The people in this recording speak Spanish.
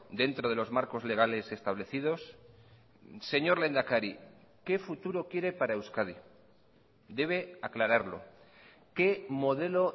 dentro de los marcos legales establecidos señor lehendakari qué futuro quiere para euskadi debe aclararlo qué modelo